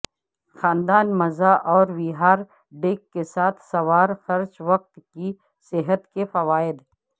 خاندان مزہ اور وہار ڈیک کے ساتھ سوار خرچ وقت کی صحت کے فوائد